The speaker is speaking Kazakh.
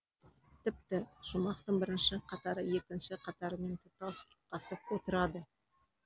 тіпті шумақтың бірінші қатары екінші қатарымен тұтас ұйқасып отырады